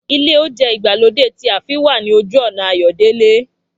Ilé óúnjẹ ìgbàlódé ti ààfin wà ní ojú ọ̀nà Ayọ̀délé